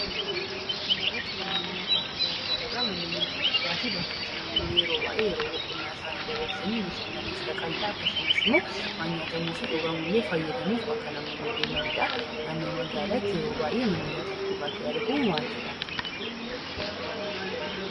Suura kanarratti manneen nyaataaf dhugaatii argina. Manneen nyaataaf dhugaati yeroo baay'ee bakkee namoonni yeroo boqonnaa isaanii dabarsanii bashannanuuf dhaqanidha. Akkasumas waan nyaatamuu fi dhugamu fayyadamuudhaaf bakka namoonni deemanidha. Naannoo magaalaatti yeroo baay'ee manneen nyaataaf dhugaati arguun waan baratamedha.